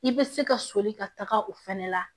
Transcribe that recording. I bɛ se ka soli ka taga o fɛnɛ la